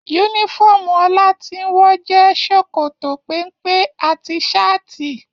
Yúnífọ̀ọ́mù Olatinwo jẹ sòkòtò pénpé àti saati.